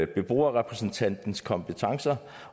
beboerrepræsentantens kompetencer